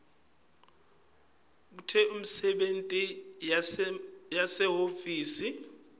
bekute imisebenti yasehhovisi